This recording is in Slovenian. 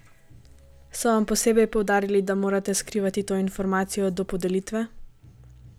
So vam posebej poudarili, da morate skrivati to informacijo do podelitve?